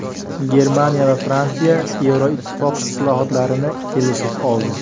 Germaniya va Fransiya Yevroittifoq islohotlarini kelishib oldi.